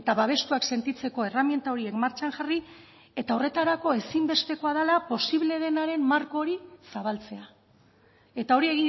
babestuak sentitzeko erreminta horiek martxan jarri eta horretarako ezinbestekoa dela posible denaren marko hori zabaltzea eta hori